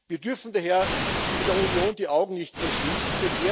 Wir dürfen daher in der Union die Augen nicht verschließen.